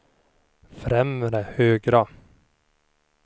främre högra